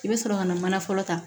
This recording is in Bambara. I bɛ sɔrɔ ka na mana fɔlɔ ta